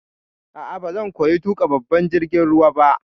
A'a, bazan koya tuƙa babban jirgin ruwa ba.